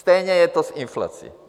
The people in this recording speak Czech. Stejně je to s inflací!